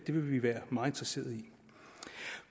det vil vi være meget interesseret i